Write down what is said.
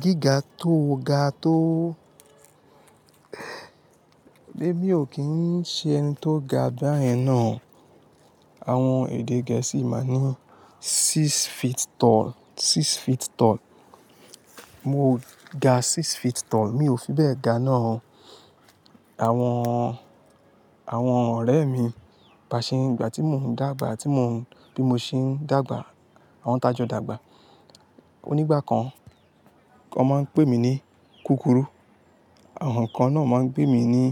Gíga tó ga tó. Èmi ò kí ń ṣe ẹni tó ga báyẹn náà. Àwọn èdè gẹ̀ẹ́sì máa ń ní six feet tall, six feet tall. Mo ò ga six feet tall, mi ò fi bẹ́ẹ̀ ga náà. Àwọn, àwọn ọ̀rẹ́ mi, bá ṣe nígbà tí mò ń dàgbà, tí mò ń, bí mo ṣe ń dàgbà, àwọn tajọ dàgbà. Onígbà kan, wọn máa ń pè mí ní kúkùrú. Àwọn kan náà máa ń pè mí ní